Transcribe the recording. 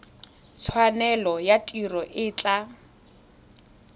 tshwanelo ya tiro e tla